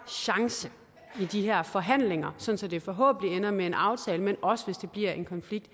chance i de her forhandlinger sådan at det forhåbentlig ender med en aftale men også hvis der bliver en konflikt